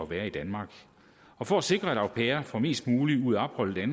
være i danmark for at sikre at au pairer får mest muligt ud af opholdet i